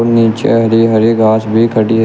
नीचे हरे हरे घास भी खड़ी है।